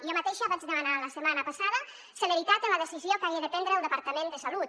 jo mateixa vaig demanar la setmana passada celeritat en la decisió que hagi de prendre el departament de salut